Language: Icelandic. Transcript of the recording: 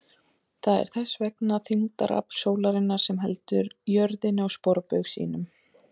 Það er þess vegna þyngdarafl sólarinnar sem heldur jörðinni á sporbaug sínum!